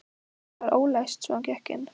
Það var ólæst svo hann gekk inn.